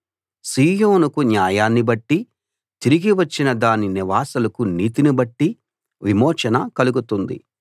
సీయోనుకు న్యాయాన్ని బట్టీ తిరిగి వచ్చిన దాని నివాసులకు నీతిని బట్టీ విమోచన కలుగుతుంది